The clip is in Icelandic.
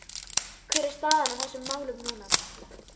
Hver er staðan á þessum málum núna?